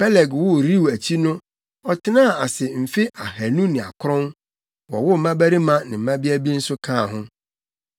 Peleg woo Reu akyi no ɔtenaa ase mfe ahannu ne akron, wowoo mmabarima ne mmabea bi nso kaa ho.